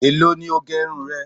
Èló ni o gẹ irun rẹ?